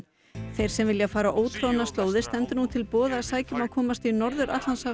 þeim sem vilja fara ótroðnar slóðir stendur nú til boða að sækja um að komast í Norður